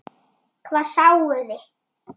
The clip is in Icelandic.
Hvað sáuði?